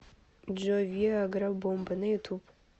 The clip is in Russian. джой виа гра бомба на ютуб